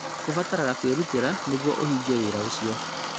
Kũbataraga kwĩrutĩra nĩguo ũhingie wĩra ũcio.